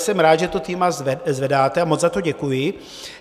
Jsem rád, že to téma zvedáte, a moc za to děkuji.